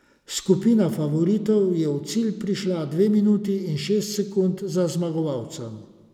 Skupina favoritov je v cilj prišla dve minuti in šest sekund za zmagovalcem.